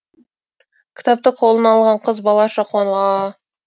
кітапты қолына алған қыз балаша қуанып аа